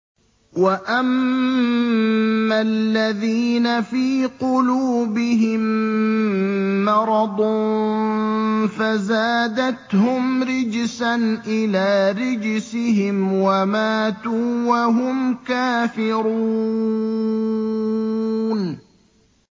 وَأَمَّا الَّذِينَ فِي قُلُوبِهِم مَّرَضٌ فَزَادَتْهُمْ رِجْسًا إِلَىٰ رِجْسِهِمْ وَمَاتُوا وَهُمْ كَافِرُونَ